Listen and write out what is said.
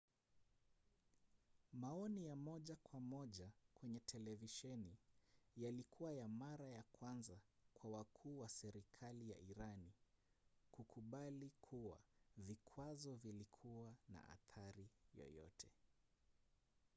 maoni ya moja kwa moja kwenye televisheni yalikuwa ya mara ya kwanza kwa wakuu wa serikali ya irani kukubali kuwa vikwazo vilikuwa na athari yoyote